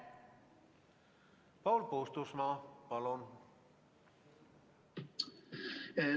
Paul Puustusmaa, palun!